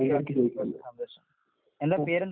എന്താ പേരെന്താ?